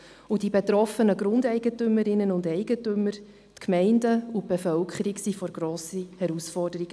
Die betroffenen Grundeigentümerinnen und eigentümer, die Gemeinden und die Bevölkerung standen vor grossen Herausforderungen.